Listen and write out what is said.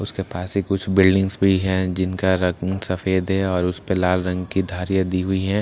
उसके पास ही कुछ बिल्डिंग्स भी है जिनका रंग सफ़ेद है और उस पे लाल रंग की धारियां दी हुई है --